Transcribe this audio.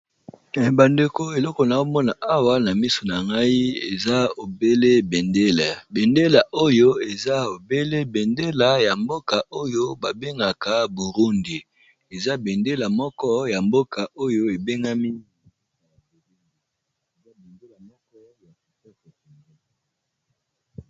bandeko eleko na omona awa na miso na ngai ebendela oyo eza ebele bendela ya mboka oyo babengaka burundi eza bendelam ya mboka oyo ebengami